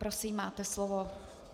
Prosím, máte slovo.